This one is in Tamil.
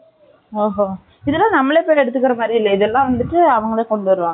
இதெல்லாம் நம்மளே பேர் எடுத்துக்கிற மாதிரி இல்லை. இதெல்லாம் வந்துட்டு, அவங்களே கொண்டு வருவாங்க